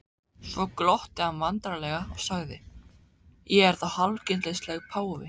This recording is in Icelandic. Svo glotti hann vandræðalega og sagði: Ég er þá hálfgildings páfi?